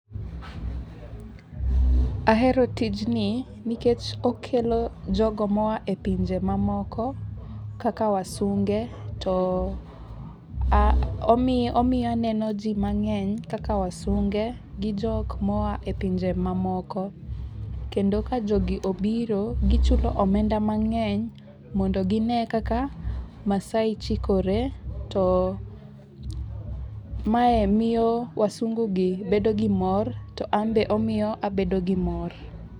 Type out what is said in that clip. Ahero tijni nikech okelo jogo moa e pinje mamoko kaka wasunge. To omiyo aneno ji mang'eny kaka wasunge gi jok moa e pinje mamoko. Kendo ka jogi obiro gichulo omenda mang'eny mondo gine kaka Maasai chikore. To mae miyo wasungu gi bedo gi mor to an be omiyo abedo gi mor.